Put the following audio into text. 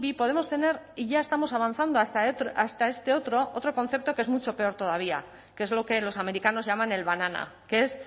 podemos tener y ya estamos avanzando hasta este otro otro concepto que es mucho peor todavía que es lo que los americanos llaman el banana que es